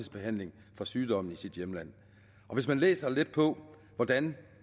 behandling for sygdommen i sit hjemland hvis man læser lidt på hvordan